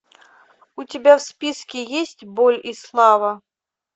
у тебя в списке есть боль и слава